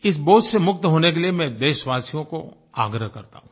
इस बोझ से मुक्त होने के लिए मैं देशवासियो को आग्रह करता हूँ